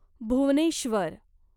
Bhubaneswar